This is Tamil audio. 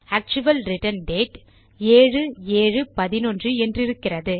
actual return date 7711 என்றிருக்கிறது